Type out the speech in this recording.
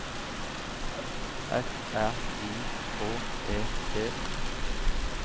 F R I H E T